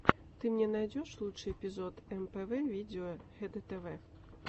ты мне найдешь лучший эпизод мпв видео хдтв